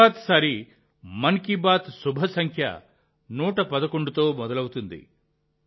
తర్వాతిసారి మన్ కీ బాత్ శుభసంఖ్య 111తో మొదలవుతుంది